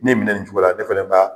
N ye nin minɛ nin cogo la ne fɛnɛ b'a